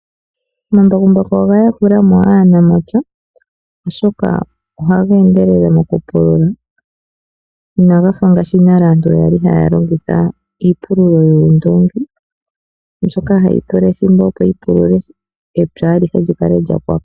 Omambakumbaku oga yakulamo aanamapya oshoka ohaga endelele moku pulula inagafa ngaashi nale aantu yali haya longitha iipululo yoondoongi ndjoka hayi pula ethimbo opo yipulule epya alihe likale lyapwako.